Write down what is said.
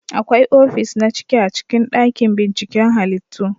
Akwai ofis na ciki a cikin dakin binciken halittu